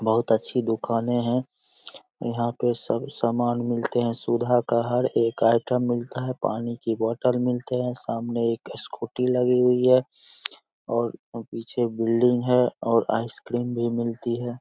बहुत अच्छी दुकाने हैं यहाँ पे सब सामान मिलते हैं सुधा का हर एक आइटम मिलता है| पानी का बोतल मिलते हैं| सामने एक स्कूटी लगी हुई है और पीछे बिल्डिंग है और आइसक्रीम भी मिलती है।